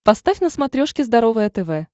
поставь на смотрешке здоровое тв